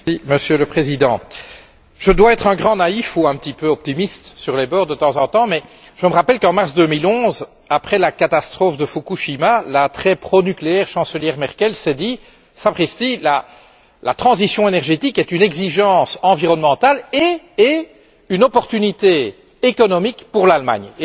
Monsieur le Président, je dois être un grand naïf ou un petit peu optimiste sur les bords de temps en temps, mais je me rappelle qu'en mars 2011, après la catastrophe de Fukushima, la très pro nucléaire chancelière Merkel s'est dit Sapristi, la transition énergétique est une exigence environnementale et une opportunité économique pour l'Allemagne.